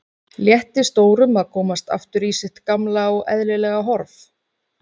Létti stórum að komast aftur í sitt gamla og eðlilega horf.